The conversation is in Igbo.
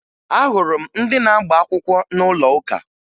Ahụrụ m ndị na-agba akwụkwọ n'ụlọ ụka